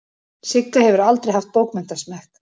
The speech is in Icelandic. Sigga hefur aldrei haft bókmenntasmekk.